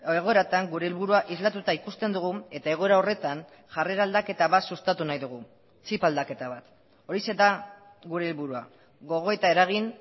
egoeratan gure helburua islatuta ikusten dugun eta egoera horretan jarrera aldaketa bat sustatu nahi dugu txip aldaketa bat horixe da gure helburua gogoeta eragin